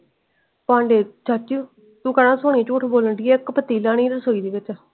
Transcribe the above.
ਭਾਡੇ ਚਾਚੀ ਤੂੰ ਕਹਿਣਾ ਸੋਨੀ ਝੂਟ ਬੋਲਣ ਡਈ ਏ ਇੱਕ ਪਤੀਲਾ ਨੀ ਰਸੋਈ ਦੇ ਵਿਚ।